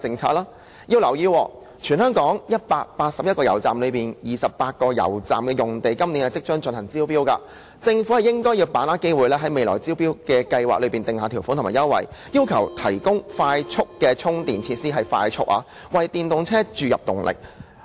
請大家留意，在全港181間油站中，有28間油站的用地將會在今年進行招標，政府應該把握機會，在未來的招標計劃中訂下條款和優惠，要求油站必須提供快速充電設施——必須是快速充電——為電動車注入動力。